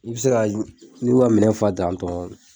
I bi se ka y n'i u ka minɛn fa tantɔɔn